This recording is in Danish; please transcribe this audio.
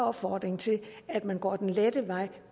opfordring til at man går den lette vej